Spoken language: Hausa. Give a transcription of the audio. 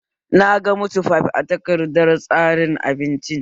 Naga mit fif a takardar tsarin abinci